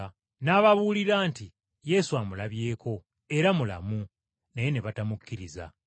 N’ababuulira nti Yesu amulabyeko era mulamu! Naye ne batamukkiriza!